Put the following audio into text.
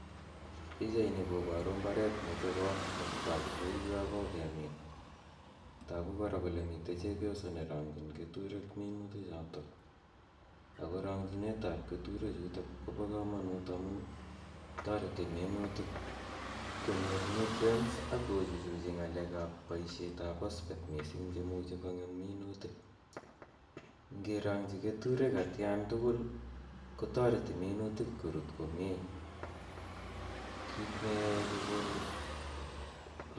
Pichaini koboru mbaret nechobot akotogu kouyo kokemin. Togu kora kole mtei chepyoso nerong'chin keturek minutichotok. Ako rong'chinetab keturechutok kobo komonut amun toreti minutik konyor nutrients akochuchuchi ng'alekab boishetap posphate mising cheimuchi kong'em minutik. Ngerong'chi keturek atkantugul kotoreti minutik korut komie. Kit neyoei komon'g komie.